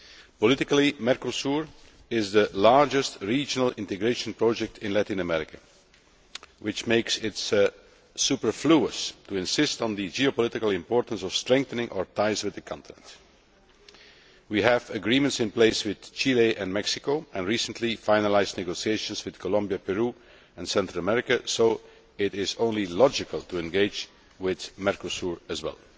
Politically, Mercosur is the largest regional integration project in Latin America, which makes it superfluous to insist on the geopolitical importance of strengthening our ties with the continent. We have agreements in place with Chile and Mexico, and recently finalised negotiations with Colombia, Peru and Central America, so it is only logical to engage with Mercosur as well.